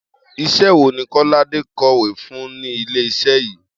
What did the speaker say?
Is̩é̩ wo ni Kó̩ládé kò̩wé fún ní ilé-is̩é̩ yín?